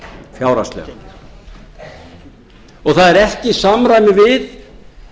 fjárhagslega það er ekki í samræmi við